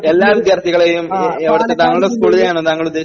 എല്ലാ വിദ്യാർത്ഥികളെയും എ എവിടത്തെ താങ്കളുടെ സ്കൂളിലെ ആണോ താങ്കൾ ഉദ്ദേശിക്കുന്നത്